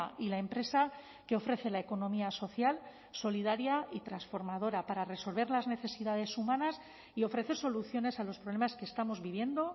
y la empresa que ofrece la economía social solidaria y transformadora para resolver las necesidades humanas y ofrecer soluciones a los problemas que estamos viviendo